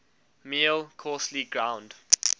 meal coarsely ground